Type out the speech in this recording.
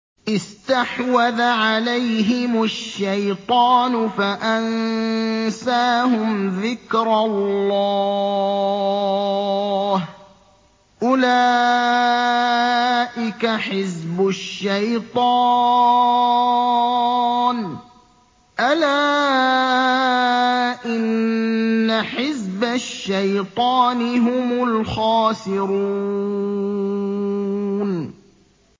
اسْتَحْوَذَ عَلَيْهِمُ الشَّيْطَانُ فَأَنسَاهُمْ ذِكْرَ اللَّهِ ۚ أُولَٰئِكَ حِزْبُ الشَّيْطَانِ ۚ أَلَا إِنَّ حِزْبَ الشَّيْطَانِ هُمُ الْخَاسِرُونَ